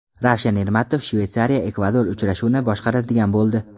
Ravshan Ermatov ShveysariyaEkvador uchrashuvini boshqaradigan bo‘ldi.